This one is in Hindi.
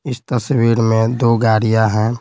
इस तस्वीर में दो गाड़ियां हैं।